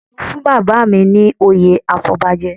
Ìlú fún bàbá mi ní oyè afọbajẹ